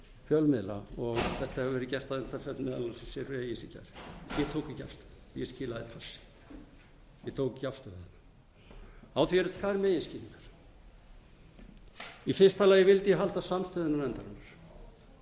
fjölmiðla og þetta hefur verið gert að umtalsefni þessar breytingar ég tók ekki afstöðu ég skilaði auðu ég tók ekki afstöðu á því eru tvær meginskýringar í fyrsta lagi vildi ég halda samstöðunni endalaust